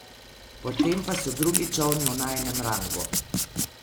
Potem pa so drugi čolni v najinem rangu.